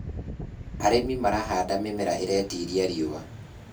arĩmi marahanda mĩmera iretĩĩria riũa